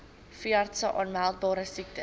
veeartse aanmeldbare siektes